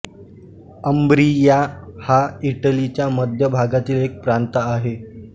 Umbria हा इटलीच्या मध्य भागातील एक प्रांत आहे